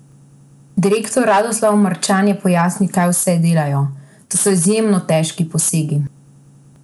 Direktor Radoslav Marčan je pojasnil, kaj vse delajo: "To so izjemno težki posegi.